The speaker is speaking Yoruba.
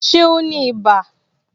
Ṣé o ní ibà